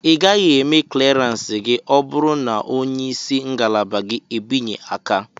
Ị gaghị eme kleransi gị ọ bụrụ na onye isi ngalaba gị e binye aka.